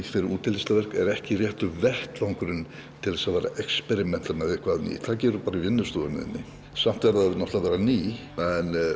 fyrir útilistaverk er ekki rétti vettvangurinn til að experímenta með eitthvað nýtt það gerirðu bara í vinnustofunni þinni samt verður það að vera nýtt en